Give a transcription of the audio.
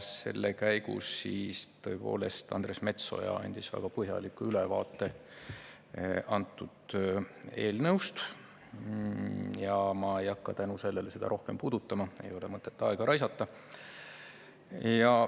Selle käigus andis Andres Metsoja väga põhjaliku ülevaate antud eelnõust ja ma ei hakka tänu sellele seda rohkem puudutama, ei ole mõtet aega raisata.